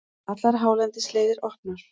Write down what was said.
Allar hálendisleiðir opnar